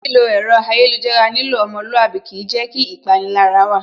Lílo ẹ̀rọ ayélujára nílò ọmọlúwàbí kìí jẹ́ kí ìpanilára wà